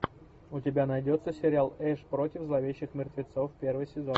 у тебя найдется сериал эш против зловещих мертвецов первый сезон